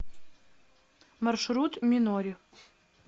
маршрут минори